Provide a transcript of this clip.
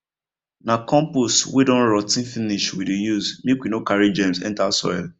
na compost wey don rot ten finish we dey use make we no carry germs enter soil